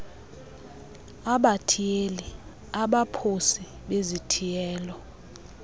abathiyeli abaphosi bezithiyelo